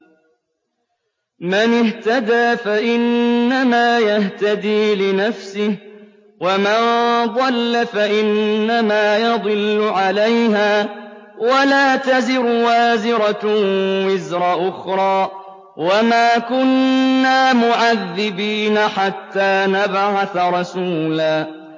مَّنِ اهْتَدَىٰ فَإِنَّمَا يَهْتَدِي لِنَفْسِهِ ۖ وَمَن ضَلَّ فَإِنَّمَا يَضِلُّ عَلَيْهَا ۚ وَلَا تَزِرُ وَازِرَةٌ وِزْرَ أُخْرَىٰ ۗ وَمَا كُنَّا مُعَذِّبِينَ حَتَّىٰ نَبْعَثَ رَسُولًا